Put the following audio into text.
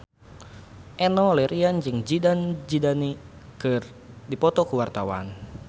Enno Lerian jeung Zidane Zidane keur dipoto ku wartawan